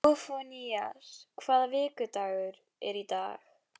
Sófónías, hvaða vikudagur er í dag?